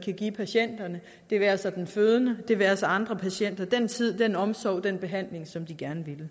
kan give patienterne det være sig den fødende det være sig andre patienter den tid den omsorg den behandling som de gerne ville